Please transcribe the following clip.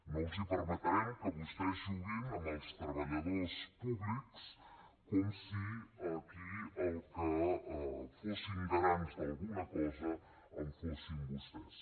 no els permetrem que vostès juguin amb els treballadors públics com si aquí els que fossin garants d’alguna cosa fossin vostès